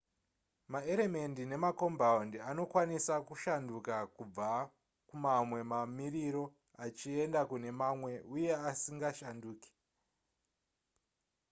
maeremendi nemakombaundi anokwanisa kushanduka kubva kumamwe mamiriro achienda kune mamwe uye asingashanduke